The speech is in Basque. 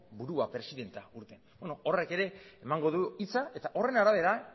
burua presidentea beno horrek ere emango du hitza eta horren arabera